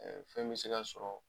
fɛn bi se ka sɔrɔ